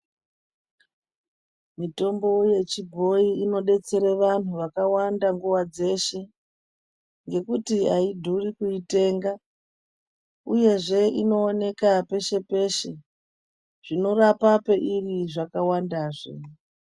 Mitombo yechibhoyi inodetsere vanhu vakawanda nguva dzeshe, ngekuti haidhuri kuitenga uyezve inooneka peshe peshe. Zvinorapa peiri zvakawandazve.